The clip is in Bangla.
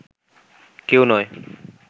কেউ নয়